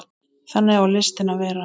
Þannig á listin að vera.